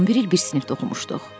11 il bir sinifdə oxumuşduq.